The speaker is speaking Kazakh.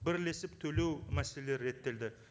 бірлесіп төлеу мәселелері реттелді